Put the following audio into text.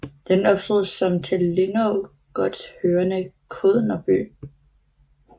Den opstod som til Lindå gods hørende kådnerby